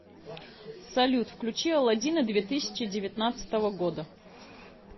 салют включи аладдина две тысячи девятнадцатого года